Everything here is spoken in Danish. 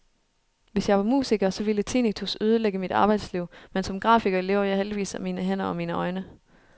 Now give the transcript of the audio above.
Hvis jeg var musiker, så ville tinnitus ødelægge mit arbejdsliv, men som grafiker lever jeg heldigvis af mine hænder og mine øjne.